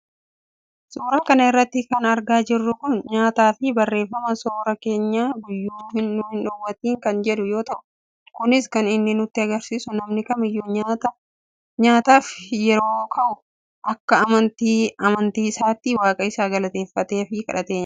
suuraa kana irratti kan argaa jirru kun nyaataafi barreeffama sooraa keenya guyyuu nu hin dhowwatiin kan jedhu yoo ta'u, kunis kan inni nutti agarsiisu namni kamiyyuu nyaata nyaachuuf yeroo ka'u akka amantii amantii isaatti waaqa isaa galateeffateefi kadhatee nyaata.